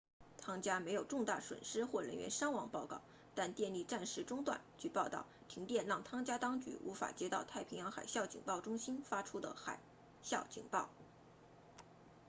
汤加 tonga 没有重大损失或人员伤亡报告但电力暂时中断据报道停电让汤加当局无法收到太平洋海啸警报中心 ptwc 发出的海啸警报